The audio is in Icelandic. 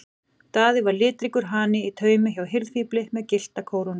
Daði var litríkur hani í taumi hjá hirðfífli með gyllta kórónu.